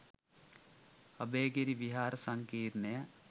අභයගිරි විහාර සංකීර්ණය